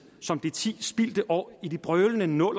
som de ti spildte år i de brølende nul